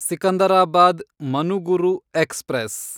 Secunderabad Manuguru express